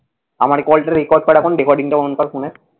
আমার call টা record কর এখন। recording টা on কর ফোনের।